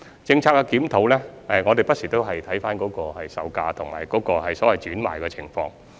就政策檢討，我們不時會看回售價和轉讓的情況。